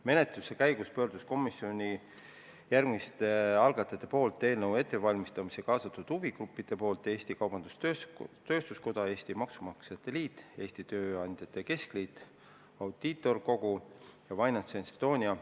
Menetluse käigus pöördus komisjon järgmiste algataja poolt eelnõu ettevalmistamisse kaasatud huvigruppide poole: Eesti Kaubandus-Tööstuskoda, Eesti Maksumaksjate Liit, Eesti Tööandjate Keskliit, Audiitorkogu ja FinanceEstonia.